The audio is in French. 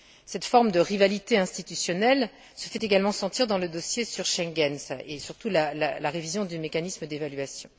Cette forme de rivalité institutionnelle se fait également sentir dans le dossier sur Schengen, en ce qui concerne surtout la révision du mécanisme d'évaluation.